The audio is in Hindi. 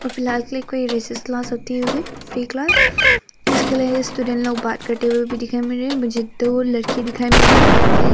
फिलहाल के लिए कोई रिसेस क्लास होती होगी फ्री क्लास । इसके लिए स्टूडेंट लोग बात करते हुए दिखाई मिल रहे हैं। मुझे दो लड़के दिखाई मिल रहे हैं। लड़के --